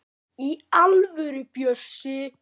Í alvöru, Bjössi.